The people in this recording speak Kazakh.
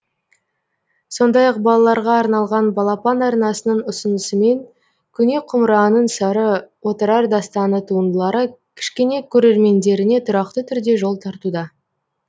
сондай ақ балаларға арналған балапан арнасының ұсынысымен көне құмыраның сыры отырар дастаны туындылары кішкене көрермендеріне тұрақты түрде жол тартуда